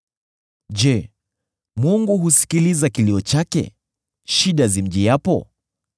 Je, Mungu husikiliza kilio chake, shida zimjiapo?